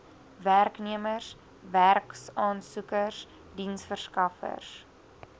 werknemers werksaansoekers diensverskaffers